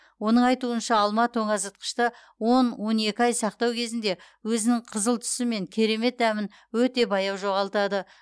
оның айтуынша алма тоңазытқышты он он екі ай сақтау кезінде өзінің қызыл түсі мен керемет дәмін өте баяу жоғалтады